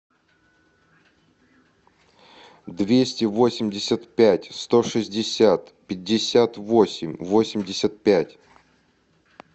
двести восемьдесят пять сто шестьдесят пятьдесят восемь восемьдесят пять